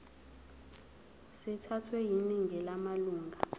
sithathwe yiningi lamalunga